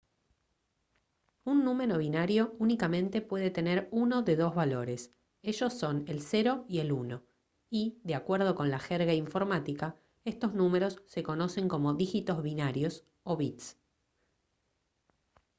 un número binario únicamente puede tener uno de dos valores ellos son el 0 y el 1 y de acuerdo con la jerga informática estos números se conocen como dígitos binarios o bits